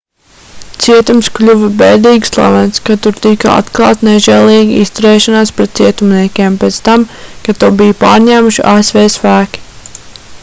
cietums kļuva bēdīgi slavens kad tur tika atklāta nežēlīga izturēšanās pret cietumniekiem pēc tam kad to bija pārņēmuši asv spēki